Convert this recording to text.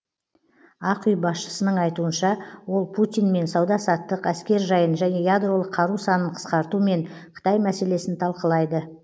ақ үй басшысының айтуынша ол путинмен сауда саттық әскер жайын және ядролық қару санын қысқарту мен қытай мәселесін талқылайды